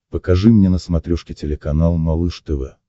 покажи мне на смотрешке телеканал малыш тв